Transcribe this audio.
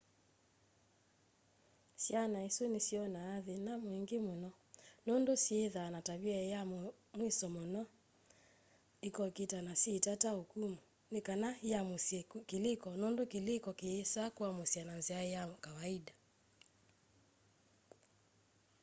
syana isu nisyonaa thina mwingi muno nundu syithaa na tavia kya muisyo munene muno ikokita na syii tata ukumu nikana yiamusye kiliko nundu kiliko kiyisa kuamusywa na nzia kya kawaida